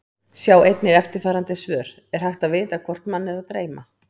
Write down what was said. Sjá einnig eftirfarandi svör: Er hægt að vita hvort mann er að dreyma?